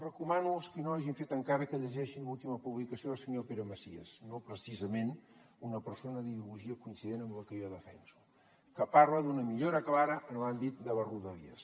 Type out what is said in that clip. recomano als qui no ho hagin fet encara que llegeixin l’última publicació del senyor pere macias no precisament una persona d’ideologia coincident amb la que jo defenso que parla d’una millora clara en l’àmbit de les rodalies